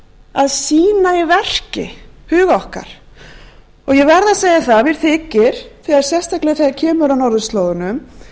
að sýna í verki hug okkar og ég verð að segja það að mér þykir sérstaklega kemur að norðurslóðunum